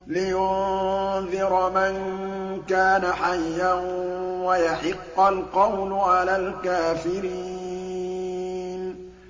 لِّيُنذِرَ مَن كَانَ حَيًّا وَيَحِقَّ الْقَوْلُ عَلَى الْكَافِرِينَ